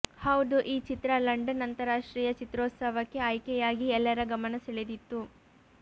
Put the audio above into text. ಹೌದು ಈ ಚಿತ್ರ ಲಂಡನ್ ಅಂತಾರ್ರಾಷ್ಟ್ರೀಯ ಚಿತ್ರೋತ್ಸವಕ್ಕೆ ಆಯ್ಕೆಯಾಗಿ ಎಲ್ಲರ ಗಮನಸೆಳೆದಿತ್ತು